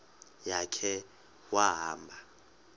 ya khe wahamba